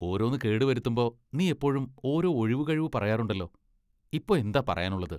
ഓരോന്ന് കേടുവരുത്തുമ്പോ നീ എപ്പോഴും ഒരോ ഒഴികഴിവു പറയാറുണ്ടല്ലോ. ഇപ്പോ എന്താ പറയാനുള്ളത് ?